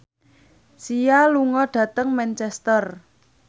Sia lunga dhateng Manchester